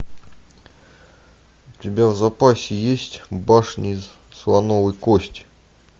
у тебя в запасе есть башня из слоновой кости